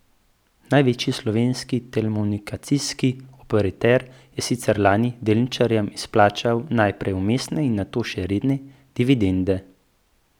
Največji slovenski telekomunikacijski operater je sicer lani delničarjem izplačal najprej vmesne in nato še redne dividende.